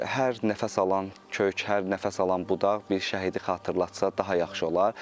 Hər nəfəs alan kök, hər nəfəs alan budaq bir şəhidi xatırlatsa, daha yaxşı olar.